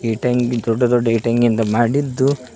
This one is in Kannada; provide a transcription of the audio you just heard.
ತೆಂಗಿ ದೊಡ್ಡ ದೊಡ್ಡ ಇಟೆಂಗ್ಗಿಂದ ಮಾಡಿದ್ದು--